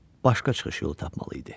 Başqa çıxış yolu tapmalı idi.